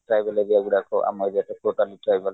tribal area ଗୁଡାକ ଆମ area totally tribal